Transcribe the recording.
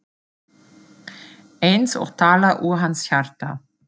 Eins og talað úr hans hjarta.